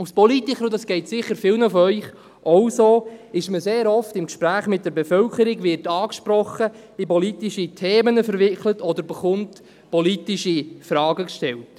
– Als Politiker, dies geht sicher vielen von Ihnen auch so, ist man sehr oft im Gespräch mit der Bevölkerung, wird angesprochen, in politische Themen verwickelt oder bekommt politische Fragen gestellt.